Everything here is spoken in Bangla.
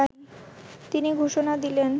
তিনি ঘোষণা দিলেন